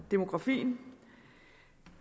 demografien